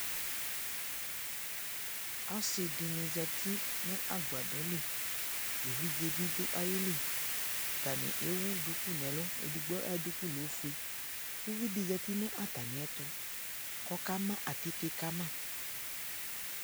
Asidi ni zati nʋ agbadɔ lι Evidze bi dʋ ayʋlι Atani ewu duku nʋ ɛlʋ ɛdigbo ayʋ duku lɛ ofue Uvi di zati nʋ atami ɛtu kʋ ɔkama atike kama